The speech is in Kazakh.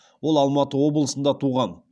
ол алматы облысында туған